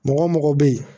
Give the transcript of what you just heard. Mɔgɔ mɔgɔ bɛ ye